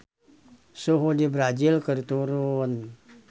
Suhu di Brazil keur turun